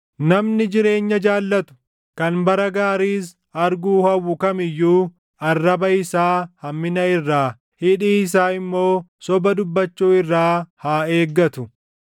“Namni jireenya jaallatu, kan bara gaariis arguu hawwu kam iyyuu, arraba isaa hammina irraa, hidhii isaa immoo soba dubbachuu irraa haa eeggatu.